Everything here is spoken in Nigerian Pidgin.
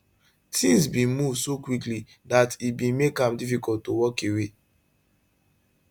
tins bin move so quickly dat e bin make am difficult to walk away